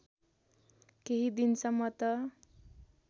केही दिनसम्म त